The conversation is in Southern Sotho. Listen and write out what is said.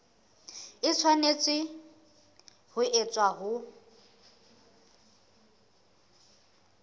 e tshwanetse ho etswa ho